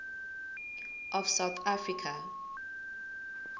of south africa